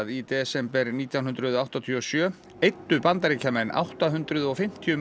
í desember nítján hundruð áttatíu og sjö eyddu Bandaríkjamenn átta hundruð og fimmtíu